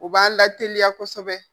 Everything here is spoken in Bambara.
U b'a lateliya kosɛbɛ